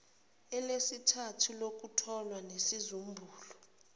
elesithathu elokutholwa nesizumbulu